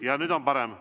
Jah, nüüd on parem.